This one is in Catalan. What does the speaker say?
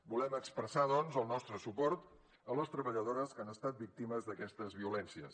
volem expressar doncs el nostre suport a les treballadores que han estat víctimes d’aquestes violències